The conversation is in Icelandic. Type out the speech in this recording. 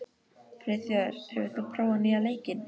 Friðþjófur, hefur þú prófað nýja leikinn?